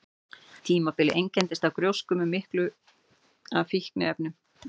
Tímabilið einkenndist af gjósku með miklu af fínefnum.